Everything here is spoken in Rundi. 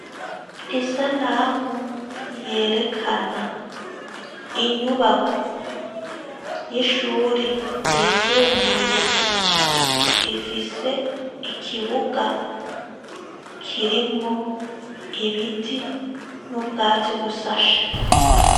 Isanamu yerekana inyubako y'ishuri ryisumbuye ifise ikibuga kirimwo ibiti n'ubwatsi busashe.